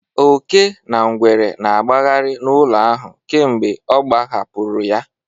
Oke na ngwere na-agbagharị n'ụlọ ahụ kemgbe ọ agbahapụrụ ya.